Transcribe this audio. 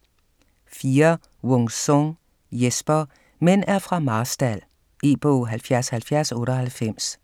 4. Wung-Sung, Jesper: Mænd er fra Marstal E-bog 707098